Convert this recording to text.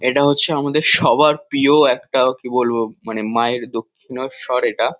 এটা হচ্ছে আমাদের সবার প্রিয় একটা কি বলবো মানে মায়ের দক্ষিনেশ্বর এটা।